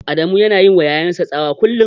Adamu yana yiwa ƴaƴan sa tsawa kullum.